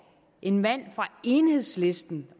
en mand fra enhedslisten